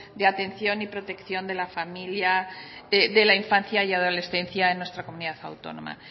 de atención y protección de la familia de la infancia y adolescencia de nuestra comunidad autónoma